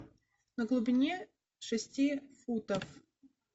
на глубине шести футов